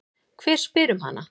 Hver spyr um hana?